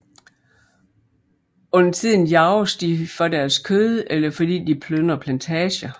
Undertiden jages de for deres kød eller fordi de plyndrer plantager